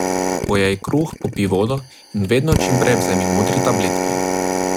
Pojej kruh, popij vodo in vedno čim prej vzemi modri tabletki.